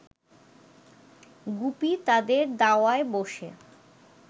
গুপি তাদের দাওয়ায় ব’সে